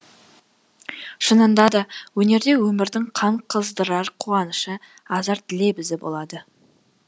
шынында да өнерде өмірдің қан қыздырар қуанышы азарт лебізі болады